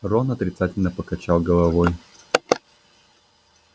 рон отрицательно покачал головой